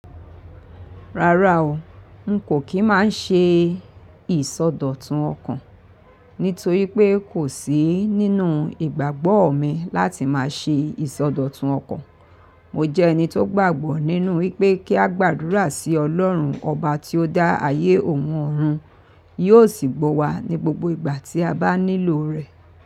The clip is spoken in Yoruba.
Rárá o, n kò kí má ṣe ìsọdọ̀tun ọkàn, nítorí pé kò sí nínú ìgbàgbọ́ mi láti má ṣe ìsọdọ̀tun ọkàn. Mo jẹ́ ẹni tó gbàgbọ́ nínú wípé kí a gbàdúrà sí Ọlọ́run, ọba tí ó dá ayé òun ọ̀run, yóò sì gbọ̀ wa ní gbogbo ìgbà tí a bá nílò rẹ̀.